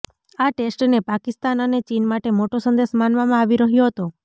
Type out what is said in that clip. આ ટેસ્ટને પાકિસ્તાન અને ચીન માટે મોટો સંદેશ માનવામાં આવી રહ્યો હતો